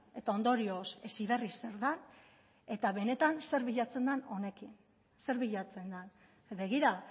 eta ondorioz heziberri zer den eta benetan zer bilatzen den honekin zer bilatzen den begira